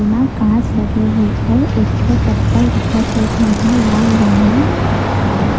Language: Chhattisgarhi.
म काच लगे हे अऊ एक ठो चप्पल दिखा थे जेहा लाल रंग म हवे।